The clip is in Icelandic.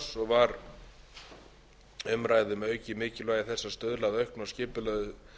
var umræða um aukið mikilvægi þess að stuðla að auknu og skipulögðu